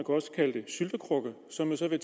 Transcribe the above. også kalde det syltekrukke som man så vil